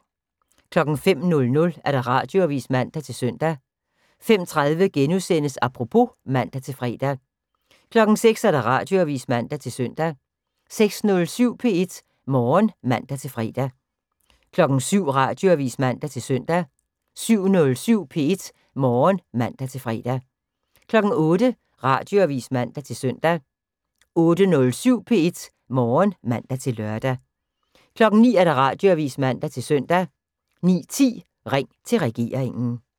05:00: Radioavis (man-søn) 05:30: Apropos *(man-fre) 06:00: Radioavis (man-søn) 06:07: P1 Morgen (man-fre) 07:00: Radioavis (man-søn) 07:07: P1 Morgen (man-fre) 08:00: Radioavis (man-søn) 08:07: P1 Morgen (man-lør) 09:00: Radioavis (man-søn) 09:10: Ring til regeringen